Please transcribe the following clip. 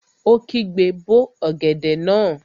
Ó kígbe, 'bó ọ̀gẹ̀dẹ̀ náà!